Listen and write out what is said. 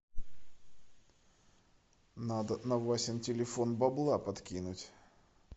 надо на васин телефон бабла подкинуть